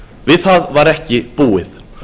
við það var ekki búið